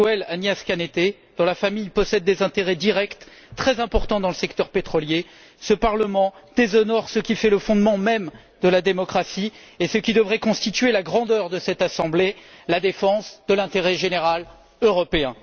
Miguel Arias Cañete, dont la famille possède des intérêts directs très importants dans le secteur pétrolier, ce Parlement déshonore ce qui fait le fondement même de la démocratie et qui devrait constituer la grandeur de cette assemblée la défense de l'intérêt général européen.